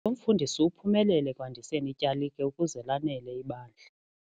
Lo mfundisi uphumelele ekwandiseni ityalike ukuze lanele ibandla.